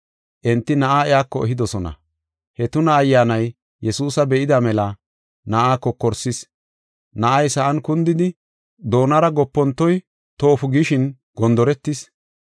Enti na7aa iyako ehidosona; he tuna ayyaanay Yesuusa be7ida mela na7aa kokorsis; na7ay sa7an kundidi, doonara gopontoy toofu gishin gondoretis.